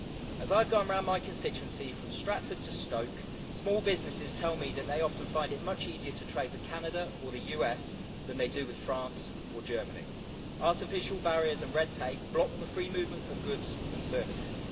As I've gone around my constituency from Stratford to Stoke, small businesses tell me that they often find it much easier to trade with Canada or the US than they do with France or Germany. Artificial barriers and red tape block the free movement of goods and services.